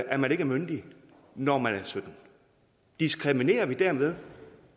at man ikke er myndig når man er sytten år diskriminerer vi dermed